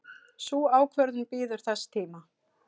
Sú ákvörðun bíður þess tíma.